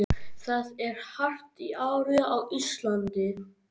Það er hart í ári á Íslandi.